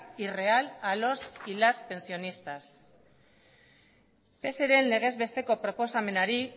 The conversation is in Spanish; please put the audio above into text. y real a los y las pensionistas pseren legez besteko proposamenari